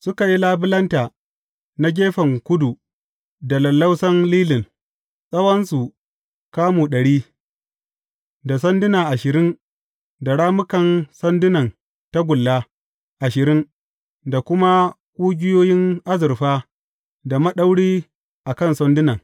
Suka yi labulanta na gefen kudu da lallausan lilin, tsawonsu kamu ɗari, da sanduna ashirin da rammukan sandunan tagulla ashirin, da kuma ƙugiyoyin azurfa da maɗauri a kan sandunan.